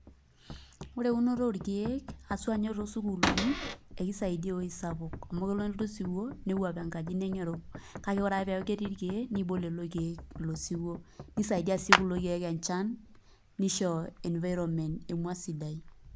Ore eunoto orkeek haswa ninye toosukulini ekisaidia ewuei sapuk amu tenelotu osiwuo newupaa enkaji nengeru kake teneeku etii irkeek niibok lelo keek ilo siwuo nisaidia sii kulo keek enchan nisho environment sidai.